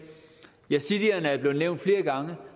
yazidierne er blevet nævnt flere gange